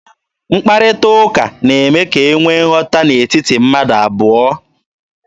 Mkparịta ụka na-eme ka e nwee nghọta n'etiti mmadụ abụọ.